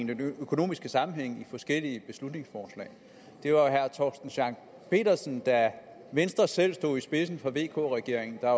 den økonomiske sammenhæng i forskellige beslutningsforslag det var jo herre torsten schack pedersen da venstre selv stod i spidsen for vk regeringen der